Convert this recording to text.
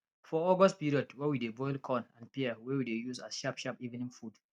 for august period we dey boil corn and pear wey we dey use as sharp sharp evening food